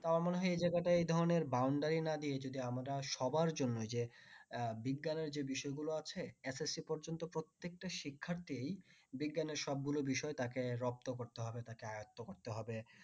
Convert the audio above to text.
তো আমার মনে হয় এই জায়গায়টা এ ধরনের boundary না দিয়ে আমরা যদি সবার জন্য যে আহ বিজ্ঞানের যে বিষয় গুলো আছে SSC পর্যন্ত প্রত্যেকটা শিক্ষার্থী বিজ্ঞানীর সব গুলো বিষয় তাকে রপ্ত করতে হবে আয়ত্ত করতে হবে